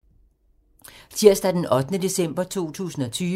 Tirsdag d. 8. december 2020